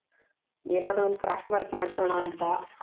ಏನಾದ್ರೂ ಒಂದ್ craft work ಮಾಡ್ಸೋಣ ಅಂತ